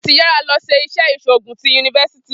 Franklin ti yara lọ si ile-iṣẹ iṣoogun ti University.